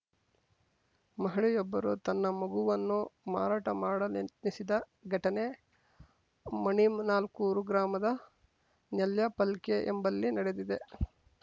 ಮಹಿಳೆಯೊಬ್ಬರು ತನ್ನ ಮಗುವನ್ನು ಮಾರಾಟಮಾಡಲೆತ್ನಿಸಿದ ಘಟನೆ ಮಣಿನಾಲ್ಕೂರು ಗ್ರಾಮದ ನೇಲ್ಯಪಲ್ಕೆ ಎಂಬಲ್ಲಿ ನಡೆದಿದೆ